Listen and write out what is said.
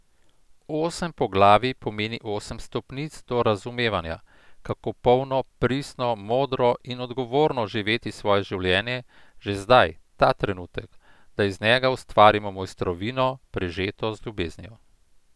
Osem poglavij pomeni osem stopnic do razumevanja, kako polno, pristno, modro in odgovorno živeti svoje življenje že zdaj, ta trenutek, da iz njega ustvarimo mojstrovino, prežeto z ljubeznijo.